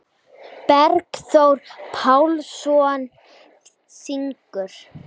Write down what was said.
Bergþór Pálsson syngur.